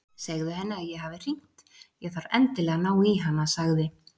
Segðu henni að ég hafi hringt, ég þarf endilega að ná í hana sagði